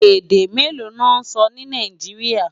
Èdè méló lò nsò ni Náijiriá?